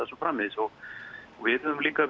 svo framvegis við höfum líka